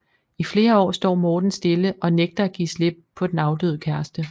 I flere år står Morten stille og nægter at give slip på den afdøde kæreste